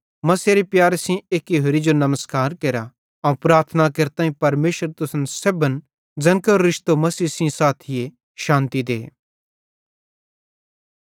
मसीहेरे प्यारे सेइं एक्की होरि जो नमस्कार केरा अवं प्रार्थना केरताईं परमेशर तुसन सेब्भन ज़ैन केरो रिश्तो मसीह सेइं साथी शान्ति दे